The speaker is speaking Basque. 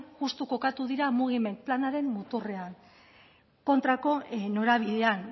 justu kokatu dira mugiment planaren muturrean kontrako norabidean